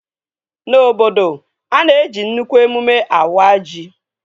Na obodo, a na-eji nnukwu emụme awa ji